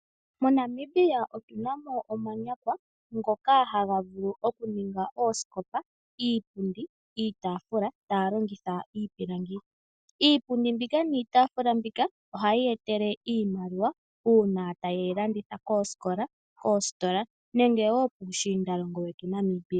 MoNamibia otuna mo omanyakwa ngoka haga vulu oku ninga oosikopa, iipundi, iitafula taya longitha iipilangi. Iipundi mbika, niitafula mbika ohayi ya etele iimaliwa uuna ta yeyi landitha koosikola, koostola, nenge wo piishinda longo ya Namibia.